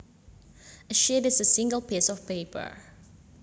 A sheet is a single piece of paper